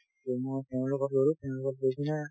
টো মই মোৰ তেওঁ লগত গলো মোৰ লগত গৈ পিনে